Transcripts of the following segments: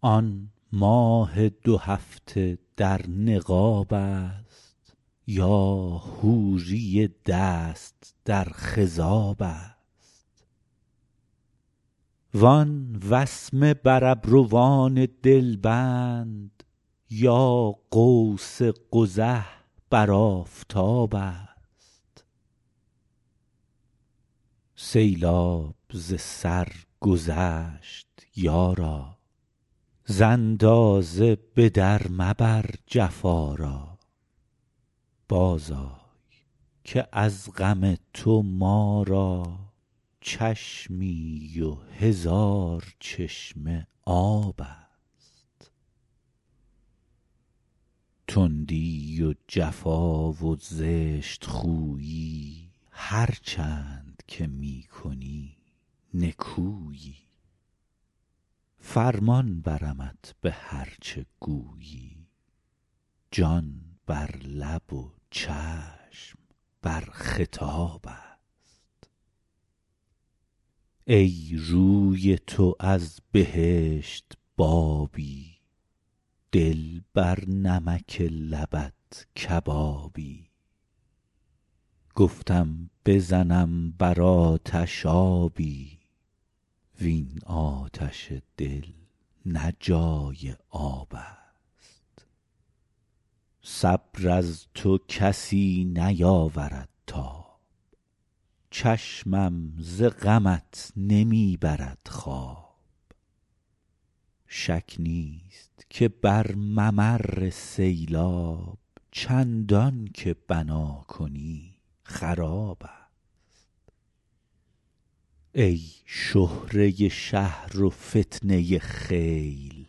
آن ماه دو هفته در نقاب است یا حوری دست در خضاب است وان وسمه بر ابروان دلبند یا قوس قزح بر آفتاب است سیلاب ز سر گذشت یارا ز اندازه به در مبر جفا را بازآی که از غم تو ما را چشمی و هزار چشمه آب است تندی و جفا و زشت خویی هرچند که می کنی نکویی فرمان برمت به هر چه گویی جان بر لب و چشم بر خطاب است ای روی تو از بهشت بابی دل بر نمک لبت کبابی گفتم بزنم بر آتش آبی وین آتش دل نه جای آب است صبر از تو کسی نیاورد تاب چشمم ز غمت نمی برد خواب شک نیست که بر ممر سیلاب چندان که بنا کنی خراب است ای شهره شهر و فتنه خیل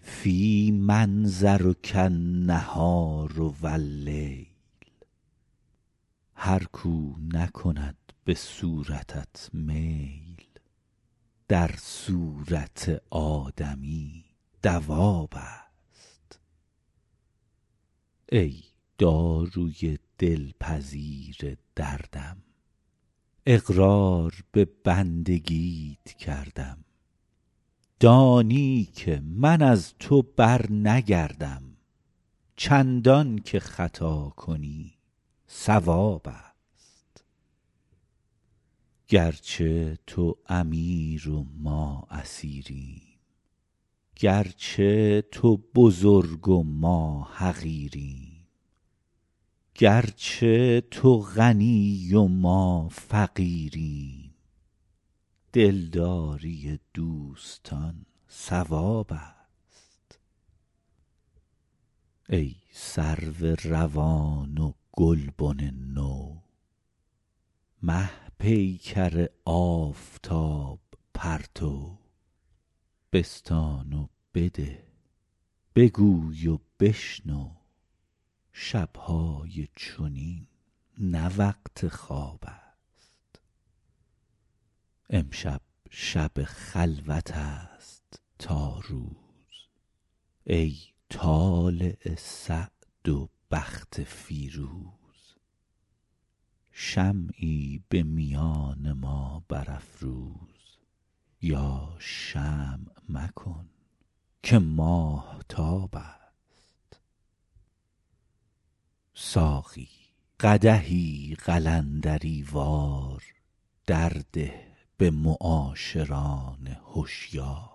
فی منظرک النهار و اللیل هر کاو نکند به صورتت میل در صورت آدمی دواب است ای داروی دلپذیر دردم اقرار به بندگیت کردم دانی که من از تو برنگردم چندان که خطا کنی صواب است گرچه تو امیر و ما اسیریم گرچه تو بزرگ و ما حقیریم گرچه تو غنی و ما فقیریم دلداری دوستان ثواب است ای سرو روان و گلبن نو مه پیکر آفتاب پرتو بستان و بده بگوی و بشنو شب های چنین نه وقت خواب است امشب شب خلوت است تا روز ای طالع سعد و بخت فیروز شمعی به میان ما برافروز یا شمع مکن که ماهتاب است ساقی قدحی قلندری وار در ده به معاشران هشیار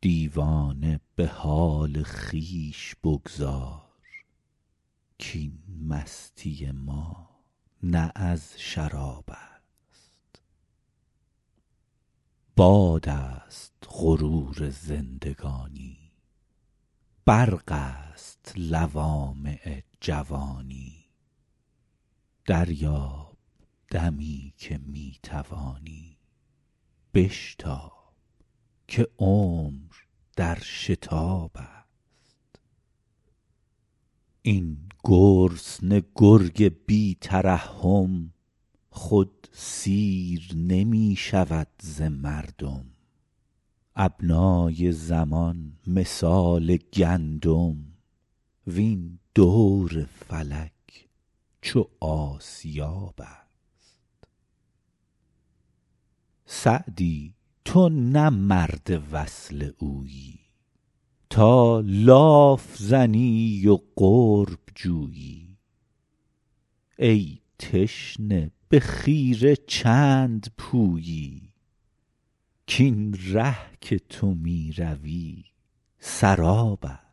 دیوانه به حال خویش بگذار کاین مستی ما نه از شراب است باد است غرور زندگانی برق است لوامع جوانی دریاب دمی که می توانی بشتاب که عمر در شتاب است این گرسنه گرگ بی ترحم خود سیر نمی شود ز مردم ابنای زمان مثال گندم وین دور فلک چو آسیاب است سعدی تو نه مرد وصل اویی تا لاف زنی و قرب جویی ای تشنه به خیره چند پویی کاین ره که تو می روی سراب است